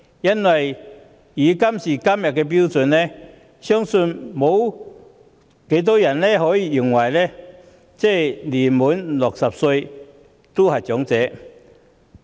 按照今天的標準，相信沒有人認為年屆60歲的就是長者。